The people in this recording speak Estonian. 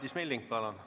Madis Milling, palun!